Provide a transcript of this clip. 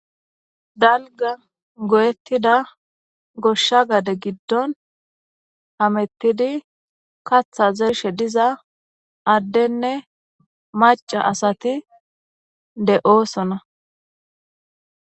Dalga goyettida goshsha gade giddon hamettidi katha zershe diza addenne maca asati de7oosona.